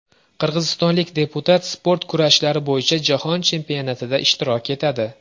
Qirg‘izistonlik deputat sport kurashlari bo‘yicha Jahon chempionatida ishtirok etadi.